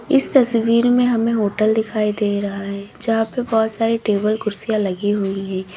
इस तस्वीर में हमें होटल दिखाई दे रहा है जहां पर बहोत सारे टेबल कुर्सियां लगी हुई है।